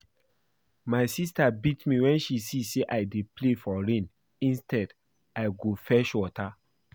My sister beat me wen she see say I dey play for rain instead I go fetch water